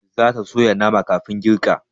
Zata soya nama kafin girka